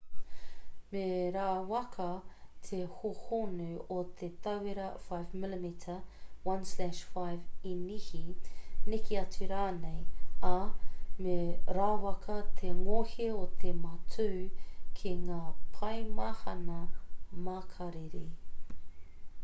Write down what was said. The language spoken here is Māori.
me rawaka te hōhonu o te tauira 5 mm 1/5 inihi neke atu rānei ā me rawaka te ngohe o te matū ki ngā paemahana makariri